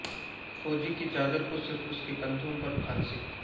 فوجی کی چادر کو صرف اس کے کندھوں پر پھانسی